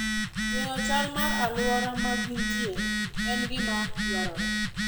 Ng'eyo chal mar alwora ma gintie en gima dwarore.